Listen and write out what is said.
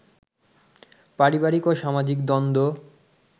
পারিবারিক ও সামাজিক দ্বন্দ্ব